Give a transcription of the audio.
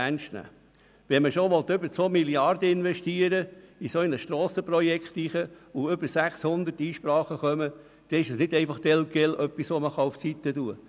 Wer 2 Mrd. Franken in ein solches Strassenprojekt investieren will, kann die über 600 Einsprachen nicht einfach beiseite legen.